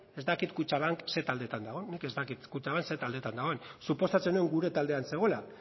ez dakit kutxabank zer taldeetan dagoen nik ez dakit kutxabank zer taldeetan dagoen suposatzen nuen gure taldean zegoela